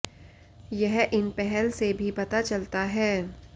यह इन पहल से भी पता चलता है